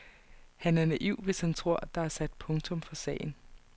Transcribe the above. Han er naiv, hvis han tror, at der er sat punktum for sagen.